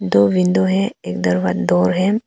दो विंडो है एक दरवाजा जो है।